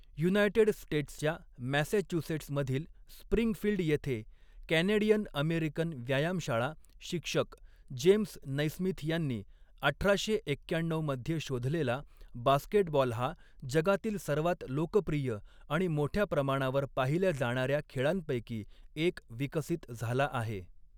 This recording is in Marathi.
युनायटेड स्टेट्सच्या मॅसॅच्युसेट्स मधील स्प्रिंगफील्ड येथे कॅनॅडियन अमेरिकन व्यायामशाळा शिक्षक जेम्स नैस्मिथ यांनी अठराशे एक्क्याण्णऊ मध्ये शोधलेला, बास्केटबॉल हा जगातील सर्वात लोकप्रिय आणि मोठ्या प्रमाणावर पाहिल्या जाणाऱ्या खेळांपैकी एक विकसित झाला आहे.